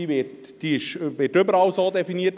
Die wird überall so definiert.